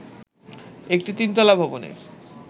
একটি তিনতলা ভবনে